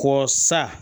Ko sa